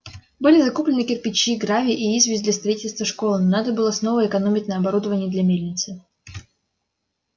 были закуплены кирпичи гравий и известь для строительства школы но надо было снова экономить на оборудование для мельницы